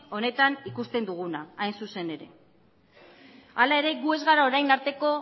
honetan ikuste duguna hain zuzen ere hala ere gu ez gara orain